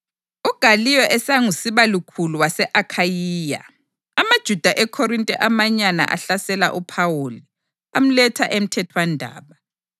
UGaliyo esangusibalukhulu wase-Akhayiya, amaJuda eKhorinte amanyana ahlasela uPhawuli, amletha emthethwandaba,